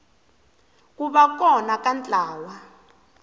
ku va kona ka ntlawa